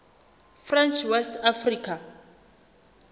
french west africa